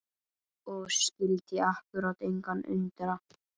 Og skyldi akkúrat engan undra!